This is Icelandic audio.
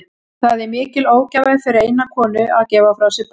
Það er mikil ógæfa fyrir eina konu að gefa frá sér barn.